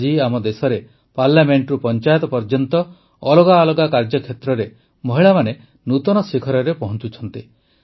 ଆଜି ଆମ ଦେଶରେ ପାର୍ଲାମେଣ୍ଟରୁ ପଂଚାୟତ ପର୍ଯ୍ୟନ୍ତ ଅଲଗା ଅଲଗା କାର୍ଯ୍ୟକ୍ଷେତ୍ରରେ ମହିଳାମାନେ ନୂତନ ଶିଖରରେ ପହଂଚୁଛନ୍ତି